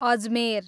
Ajmer